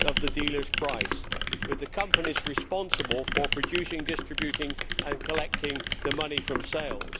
of the dealer's price, with the companies responsible for producing, distributing and collecting the money from sales.